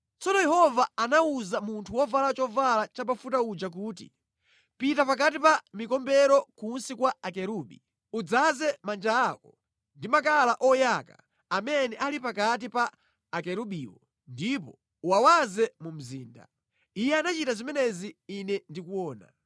Tsono Yehova anawuza munthu wovala chovala chabafuta uja kuti, “Pita pakati pa mikombero kunsi kwa akerubi. Udzaze manja ako ndi makala oyaka amene ali pakati pa akerubiwo ndipo uwawaze mu mzinda.” Iye anachita zimenezi ine ndikuona.